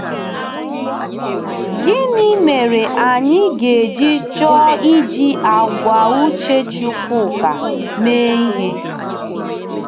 Gịnị mere anyị ga-eji chọọ iji àgwà uche Chukwuka mee ihe?